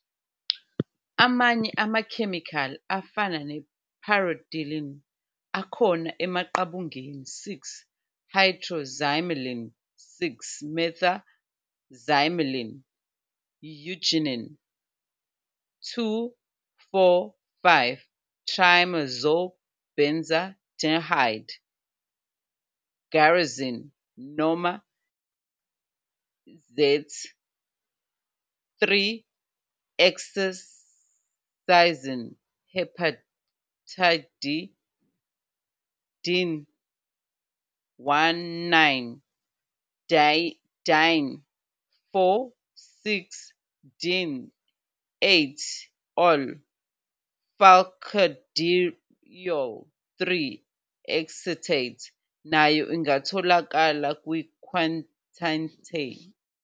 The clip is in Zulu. Amanye amakhemikhali afana ne- pyrrolidine, akhona emaqabungeni, 6-hydroxymellein, 6-methoxymellein, eugenin, 2,4,5-trimethoxybenzaldehyde, gazarin, noma, Z, -3-acetoxy-heptadeca-1, 9-diene-4,6-diin-8-ol, falcarindiol 3-acetate, nayo ingatholakala kusanqante.